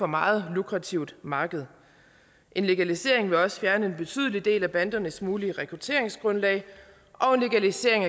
meget lukrativt marked en legalisering ville også fjerne en betydelig del af bandernes mulige rekrutteringsgrundlag og en legalisering